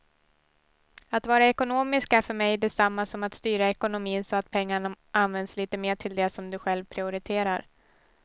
Att vara ekonomisk är för mig detsamma som att styra ekonomin så att pengarna används lite mer till det som du själv prioriterar.